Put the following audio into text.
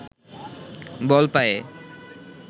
বল পায়ে